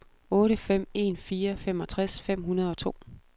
otte fem en fire femogtres fem hundrede og to